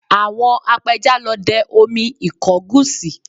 Àwọn apẹja lọ dẹ omi ìkọgùsì